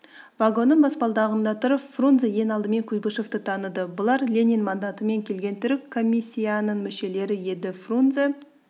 вагонның баспалдағында тұрып фрунзе ең алдымен куйбышевті таныды бұлар ленин мандатымен келген түрік комиссияның мүшелері еді фрунзе